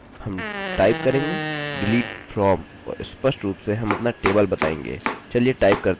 हम टाइप करेंगे delete from और स्पष्ट रूप से हम अपना टेबल बताएँगे